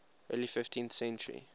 early fifteenth century